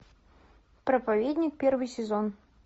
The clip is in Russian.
проповедник первый сезон